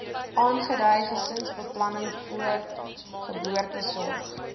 aangedui gesinsbeplanning voorgeboortesorg